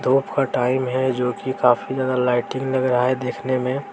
धूप का टाइम है जो की काफी ज्यादा लाइटिंग लग रहा है देखने में--